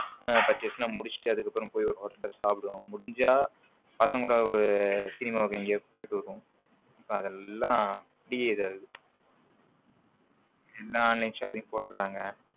Purchase எல்லாம் முடிச்சுட்டு அதுக்கப்புறம் போய் ஒரு hotel ல சாப்பிடுவோம் முடிஞ்சா பசங்க கூட ஒரு சினிமாவுக்கு எங்கயாவது போய்விடுவோம் இப்ப அது எல்லா பெரிய இது ஆகுது எல்லா online shopping போடுறாங்க.